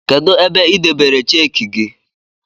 Kedu ebe I debere cheki gi